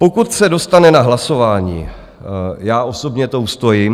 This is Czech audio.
Pokud se dostane na hlasování, já osobně to ustojím.